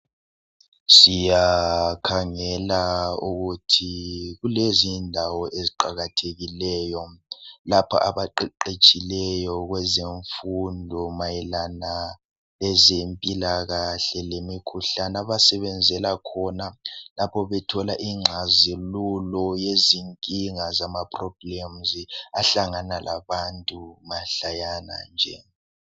Siyakhangela ukuthi kukezindawo eziqakathekileyo lapho abaqeqetshileyo kweze mfundo mayelana ezempilakahle lemkhuhlane abasebenzela khona lapho bethola ingxazilulo yezinkinga zamaproblems ahlangana labantu mahlayana nje.